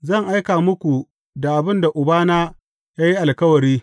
Zan aika muku da abin da Ubana ya yi alkawari.